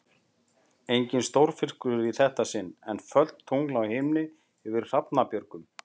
Enginn stórfiskur í þetta sinn, en fölt tungl á himni yfir Hrafnabjörgum.